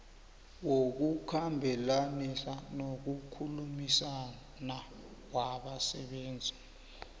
wokukhambelanisa nokukhulumisana wabasebenzi